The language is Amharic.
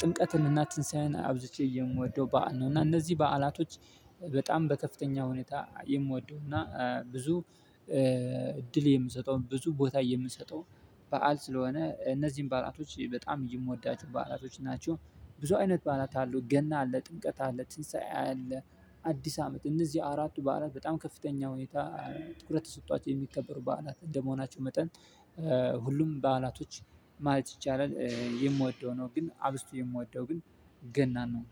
ጥምቀትንና ትንሳኤን አብዝቼ የምወደው በዓል ነው። እና እነዚህ በዓላቶች በጣም በከፍተኛ ሁኔታ የምወደው እና ብዙ እድል የምሰጠው ብዙ ቦታ የምሰጠው በዓል ስለሆነ እነዚህን በዓላቶች በጣም የምወዳቸው በዓላቶች ናቸው። ብዙ አይነት በዓላት አሉ ገና አለ ጥምቀት አለ ትንሳኤ አለ አዲስ አመት እነዚህ አራቱ በዓላት በጣም ከፍተኛ ሁኔታ ትኩረት ተሰጥቷቸው የሚከበሩ በዓላት እንደመሆናቸው መጠን። ሁሉም በዓላቶች ማለት ይቻላል የምወደው ነው ግን አብዝቶ የምወደው ግን ገና ነው።